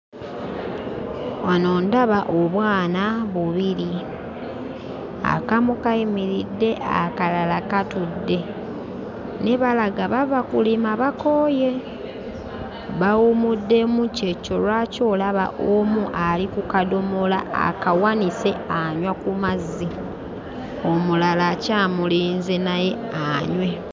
Wano ndaba obwana bubiri; akamu kayimiridde, akalala katudde naye balaga bava kulima bakooye. Bawummuddemu ky'ekyo lwaki olaba omu ali ku kadomola akawanise anywa ku mazzi, omulala akyamulinze naye anywe.